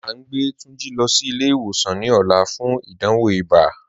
A ǹ gbẹ Tunjí lọ sí ilẹ̀-ìwòsàn ní òlà fún ìdánwò ìbá